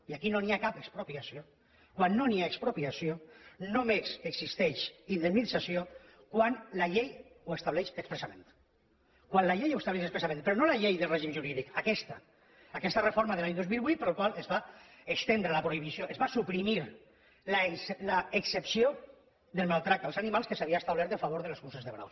i aquí no n’hi ha cap d’expropiació quan no hi ha expropiació només existeix indemnització quan la llei ho estableix expressament quan la llei ho estableix expressament però no la llei del règim jurídic aquesta aquesta reforma de l’any dos mil vuit per la qual es va suprimir l’excepció del maltractament dels animals que s’havia establert en favor de les curses de braus